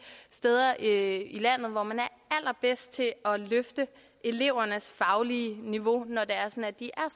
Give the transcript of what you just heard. steder i landet hvor man er allerbedst til at løfte elevernes faglige niveau når de er